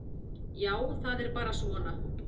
Já, það er bara svona.